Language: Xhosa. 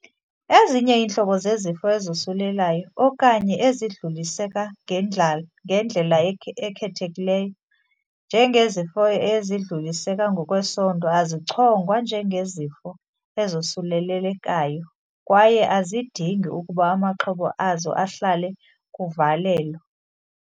Ezinye iintlobo zezifo ezosulelayo okanye ezidluliseka ngendlala ekhethekileyo, njengezifo ezidluliseka ngokwesondo, azichongwa njengezifo "ezosulelekayo", kwaye azidingi ukuba amaxhoba azo ahlale kuvalelo.